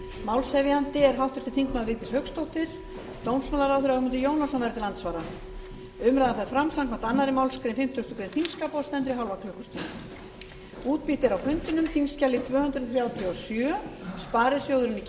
málshefjandi er háttvirtur þingmaður vigdís hauksdóttir dómsmálaráðherra ögmundur jónasson verður til andsvara umræðan fer fram samkvæmt annarri málsgrein fimmtugustu grein þingskapa og stendur í hálfa klukkustund